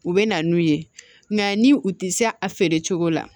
U bɛ na n'u ye nka ni u tɛ se a feere cogo la